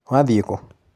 Wathiĩ kũ?